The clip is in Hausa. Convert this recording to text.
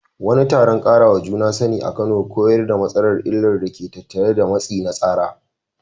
Wani taron ƙarawa juna sani a Kano koyar da matasa illar da ke tattare da matsi na tsara.